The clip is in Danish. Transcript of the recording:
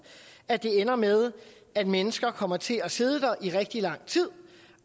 at det ender med at mennesker kommer til at sidde der i rigtig lang tid